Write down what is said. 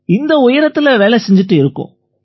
இந்த உயரத்தில வேலை செஞ்சுட்டு இருக்கோம்